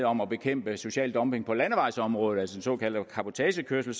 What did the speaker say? om at bekæmpe social dumping på landevejsområdet altså såkaldte cabotagekørsel